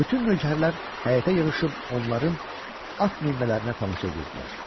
Bütün nökərlər həyətə yığışıb onların at minmələrinə tamaşa edirdilər.